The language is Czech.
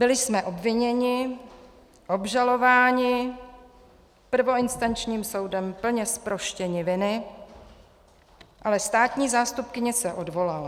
Byli jsme obviněni, obžalováni, prvoinstančním soudem plně zproštěni viny, ale státní zástupkyně se odvolala.